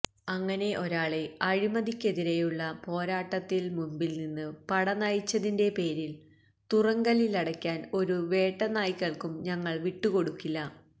അങ്ങനെ ഒരാളെ അഴിമതിക്കെതിരെയുള്ള പോരാട്ടത്തിൽ മുമ്പിൽ നിന്ന് പട നയിച്ചതിന്റെ പേരിൽ തുറുങ്കിലടക്കാൻ ഒരു വേട്ടനായ്ക്കൾക്കും ഞങ്ങൾ വിട്ടുകൊടുക്കില്ല